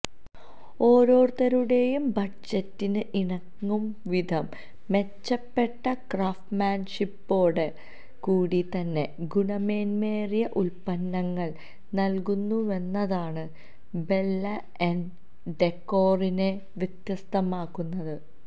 ഓരോരുത്തരുടേയും ബജറ്റിന് ഇണങ്ങും വിധം മെച്ചപ്പെട്ട ക്രാഫ്റ്റ്മാൻഷിപ്പോടു കൂടി തന്നെ ഗുണമേന്മയേറിയ ഉത്പന്നങ്ങൾ നൽകുന്നുവെന്നതാണ് ബെല്ല എൻ ഡെക്കോറിനെ വ്യത്യസ്തമാക്കുന്നത്